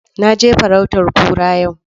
Na je farautan kura yau